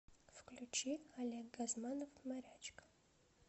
включи олег газманов морячка